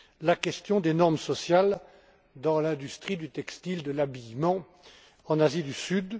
la question des normes sociales dans l'industrie du textile, de l'habillement, en Asie du Sud.